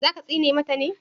za ka tsine mata me?